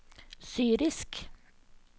syrisk